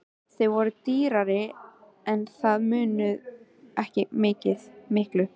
Þau voru dýrari en það munaði ekki miklu.